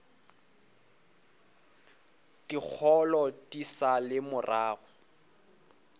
dikgolo di sa le morago